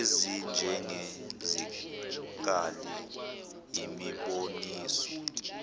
ezinjenge zikali imiboniso